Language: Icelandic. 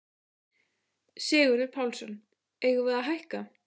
Sigurður Pálsson: Eigum við að hækka?